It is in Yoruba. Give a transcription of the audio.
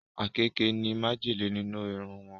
Àkekèé ní májèlé nínú iru wọn